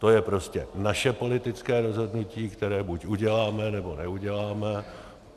To je prostě naše politické rozhodnutí, které buď uděláme, nebo neuděláme.